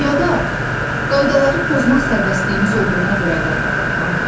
Yada qaydaları pozmaq sərbəstliyimiz olduğuna görə qaydalar var?